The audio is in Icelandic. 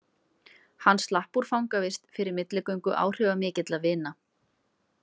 Hann slapp úr fangavist fyrir milligöngu áhrifamikilla vina.